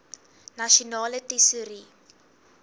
nasionale tesourie